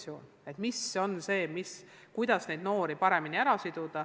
Meil on vaja leida lahendusi, kuidas tekitada motivatsioon.